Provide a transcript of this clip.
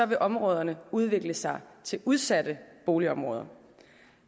vil områderne udvikle sig til udsatte boligområder